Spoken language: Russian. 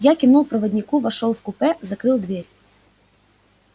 я кивнул проводнику вошёл в купе закрыл дверь